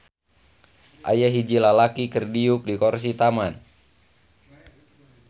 Aya hiji lalaki keur diuk di korsi taman.